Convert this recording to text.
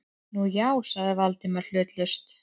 Nú, já- sagði Valdimar hlutlaust.